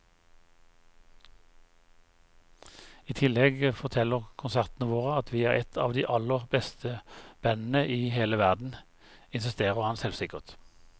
I tillegg forteller konsertene våre at vi er et av de aller beste bandene i hele verden, insisterer han selvsikkert.